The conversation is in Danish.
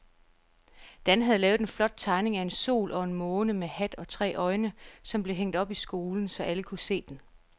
Dan havde lavet en flot tegning af en sol og en måne med hat og tre øjne, som blev hængt op i skolen, så alle kunne se den.